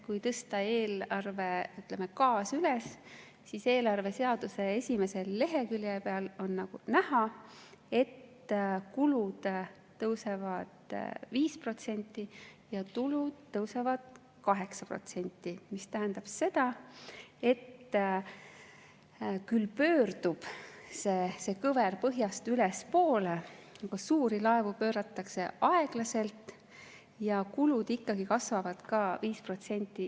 Kui tõsta eelarve kaas üles, siis eelarve seaduse esimese lehekülje peal on näha, et kulud tõusevad 5% ja tulud tõusevad 8%, mis tähendab seda, et see kõver pöördub küll põhjast ülespoole, aga suuri laevu pööratakse aeglaselt ja kulud ikkagi kasvavad ka 5%.